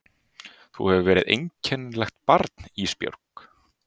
Þú hefur verið einkennilegt barn Ísbjörg.